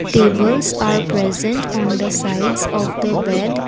tables are present on the sides of the bed.